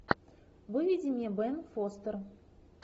выведи мне бен фостер